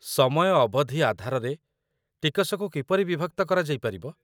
ସମୟ ଅବଧି ଆଧାରରେ ଟିକସକୁ କିପରି ବିଭକ୍ତ କରାଯାଇ ପାରିବ ?